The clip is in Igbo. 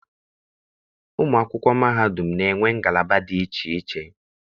Ụmụ akwụkwọ mahadum na-enwe ngalaba dị iche iche.